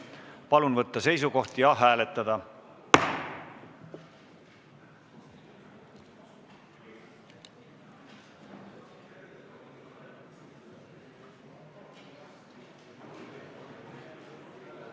Palun võtta seisukoht ja hääletada!